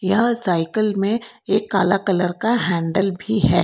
यह सायकल में एक काला कलर का हैंडल भी है।